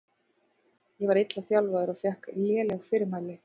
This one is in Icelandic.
Ég var illa þjálfaður og fékk léleg fyrirmæli.